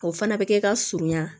O fana bɛ kɛ ka surunya